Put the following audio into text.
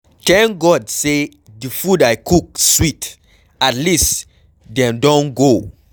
Thank God say the food I cook sweet at least dem don go.